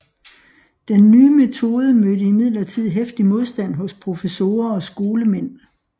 Den nye metode mødte imidlertid heftig modstand hos professorer og skolemænd